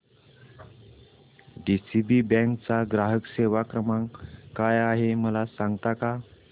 DCB bank चा ग्राहक सेवा क्रमांक काय आहे मला सांगता का